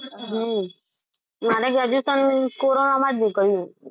હમ મારે graduation કોરોનામાં જ મુકાય.